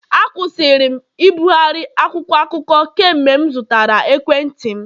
Akwụsịrị m ibugharị akwụkwọ akụkọ kemgbe m zụtara ekwentị m